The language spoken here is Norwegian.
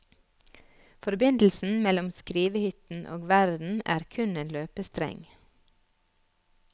Forbindelsen mellom skrivehytten og verden er kun en løpestreng.